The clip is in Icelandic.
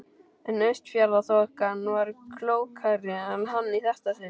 En Austfjarðaþokan var klókari en hann í þetta sinn.